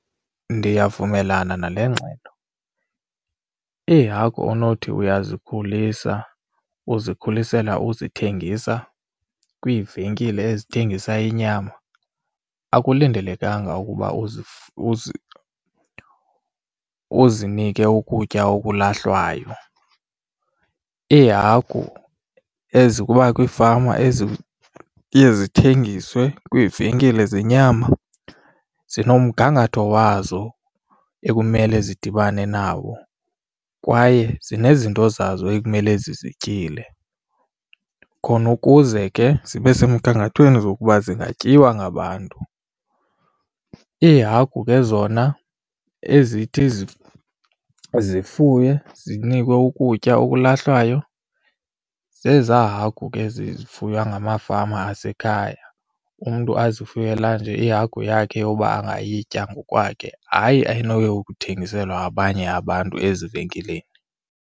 Ndiyavumelana nale ngxelo, iihagu onothi uyazikhulisa uzikhulisela uzithengisa kwiivenkile ezithengisa inyama akulindelekanga ukuba uzinike ukutya okulahlwayo. Iihagu ezokuba kwiifama eziye zithengiswe kwiivenkile zenyama, zinomgangatho wazo ekumele zidibane nawo kwaye zinezinto zazo ekumele zizityile khona ukuze ke zibe semgangathweni zokuba zingatyiwa ngabantu. Iihagu ke zona ezithi zifuywe zinikwe ukutya okulahlwayo, zezaa hagu ke zifuywe ngamafama asekhaya umntu azifuyele ezi ihagu yakhe ukuba angayitya ngokwakhe, hayi anoyikuthengisela abanye abantu ezivenkileni.